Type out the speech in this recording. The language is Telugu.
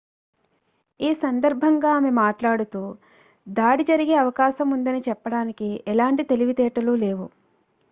ఈ సందర్భంగా ఆమె మాట్లాడుతూ దాడి జరిగే అవకాశం ఉందని చెప్పడానికి ఎలాంటి తెలివితేటలు లేవు